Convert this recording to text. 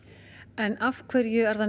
en af hverju er það